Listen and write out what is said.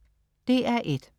DR1: